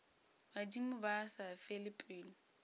badimo ba sa fele pelo